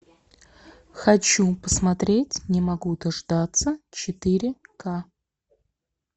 хочу посмотреть не могу дождаться четыре к